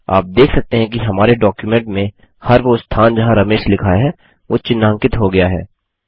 आप देख सकते हैं कि हमारे डॉक्युमेंट में हर वो स्थान जहाँ रमेश लिखा है वो चिन्हांकित हो गया है